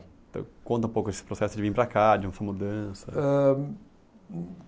Então conta um pouco esse processo de vir para cá, de mudança. Eh